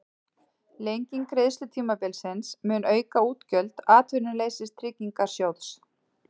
Lenging greiðslutímabilsins mun auka útgjöld Atvinnuleysistryggingasjóðs